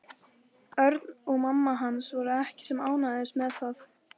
Örn og mamma hans voru ekki sem ánægðust með það.